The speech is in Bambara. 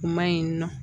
U ma ɲi nɔ